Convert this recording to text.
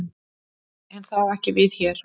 En það á ekki við hér.